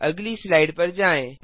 अगली स्लाइड पर जाएँ